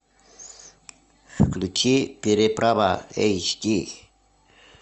включи переправа эйч ди